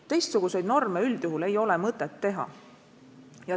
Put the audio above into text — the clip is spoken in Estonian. Teistsuguseid norme üldjuhul ei ole mõtet teha.